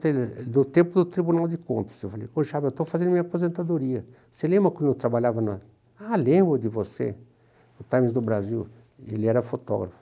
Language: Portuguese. ele ele no tempo do Tribunal de Contas, eu falei, eu estou fazendo minha aposentadoria, você lembra quando eu trabalhava na... Ah, lembro de você, no Times do Brasil, ele era fotógrafo.